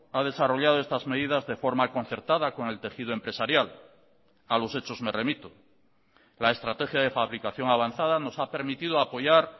ha desarrollado estas medidas de forma concertada con el tejido empresarial a los hechos me remito la estrategia de fabricación avanzada nos ha permitido apoyar